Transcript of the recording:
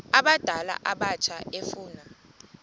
abadala abatsha efuna